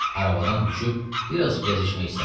Arabadan düşüb biraz gəzişmək istədi.